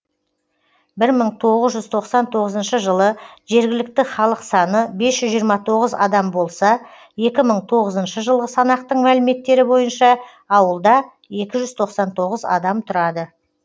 бір мың тоғыз жүз тоқсан тоғызыншы жылы жергілікті халық саны бес жүз жиырма тоғыз адам болса екі мың тоғызыншы жылғы санақтың мәліметтері бойынша ауылда екі жүзтоқсан тоғыз адам тұрады